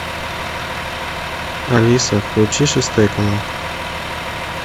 алиса включи шестой канал